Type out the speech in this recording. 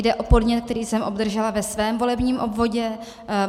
Jde o podnět, který jsem obdržela ve svém volebním obvodě.